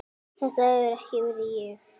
Þetta hefur ekki verið ég?